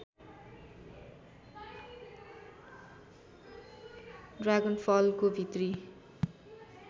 ड्रागनफलको भित्री